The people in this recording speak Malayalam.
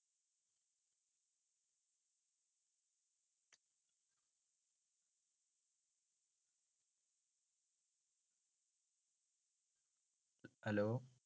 hello